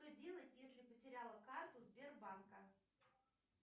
что делать если потеряла карту сбербанка